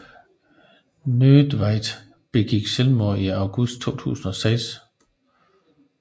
Nödtveidt begik selvmord i august 2006